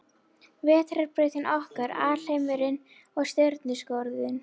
Vetrarbrautin okkar Alheimurinn Stjörnuskoðun.